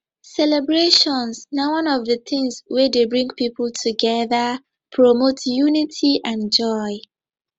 celebrations na one of di tings wey dey bring people together promote unity and joy